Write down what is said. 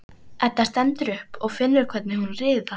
Edda stendur upp og finnur hvernig hún riðar.